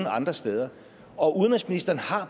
andre steder og udenrigsministeren har